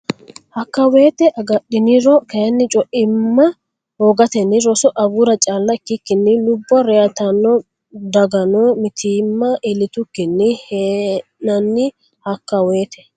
Hakka wote agadhiniro kayinni co imma hoogatenni roso agura calla ikkikkinni lubbo reytarano dagganno mitiimma iillitukkinni hee nanni Hakka wote.